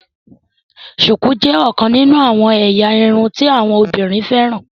shuku jé ọkàn nínú àwọn ẹ̀yà irun tí àwọn obìnrin féràn